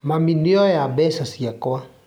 Mami nĩoya mbeca ciakwa